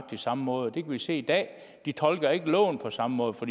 samme måde det kan vi se i dag de tolker ikke loven på samme måde for